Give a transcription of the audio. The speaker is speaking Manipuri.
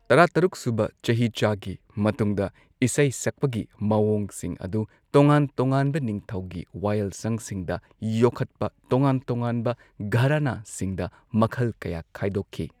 ꯇꯔꯥꯇꯔꯨꯛꯁꯨꯕ ꯆꯍꯤꯆꯥꯒꯤ ꯃꯇꯨꯡꯗ, ꯏꯁꯩ ꯁꯛꯄꯒꯤ ꯃꯑꯣꯡꯁꯤꯡ ꯑꯗꯨ ꯇꯣꯉꯥꯟ ꯇꯣꯉꯥꯟꯕ ꯅꯤꯡꯊꯧꯒꯤ ꯋꯥꯌꯦꯜꯁꯪꯁꯤꯡꯗ ꯌꯣꯛꯈꯠꯄ ꯇꯣꯉꯥꯟ ꯇꯣꯉꯥꯟꯕ ꯘꯔꯥꯅꯥꯁꯤꯡꯗ ꯃꯈꯜ ꯀꯌꯥ ꯈꯥꯏꯗꯣꯛꯈꯤ꯫